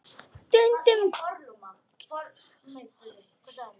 Stundum kyssast þær.